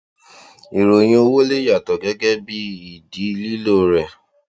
ìròyìn owó lè yàtọ gẹgẹ bí ìdí lílo rẹ